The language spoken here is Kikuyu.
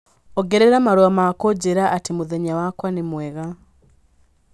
ongerera marũa ma kũnjĩra atĩ mũthenya wakwa nĩ mwega